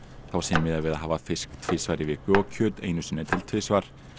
þá sé miðað við að hafa fisk tvisvar í viku og kjöt einu sinni til tvisvar